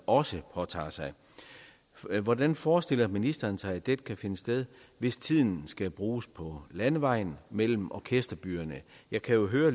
også påtager sig hvordan forestiller ministeren sig at dette kan finde sted hvis tiden skal bruges på landevejen mellem orkesterbyerne jeg kan jo høre